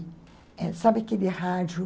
Sabe aquele rádio...?